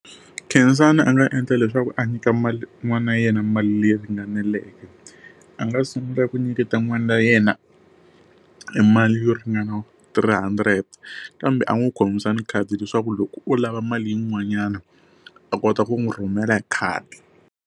Khensani a nga endla leswaku a nyika n'wana na yena mali leyi ringaneleke. A nga sungula ku nyiketa n'wana wa yena e mali yo ringana three hundred, kambe a n'wi khomisa ni khadi leswaku loko o lava mali yin'wanyana a kota ku n'wi rhumela hi khadi.